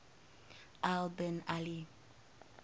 al bin ali